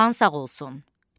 Xan sağ olsun.